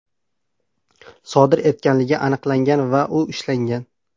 sodir etganligi aniqlangan va u ushlangan.